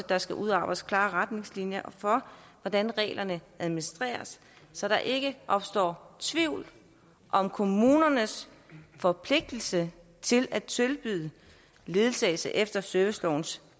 der skal udarbejdes klare retningslinjer for hvordan reglerne administreres så der ikke opstår tvivl om kommunernes forpligtelse til at tilbyde ledsagelse efter servicelovens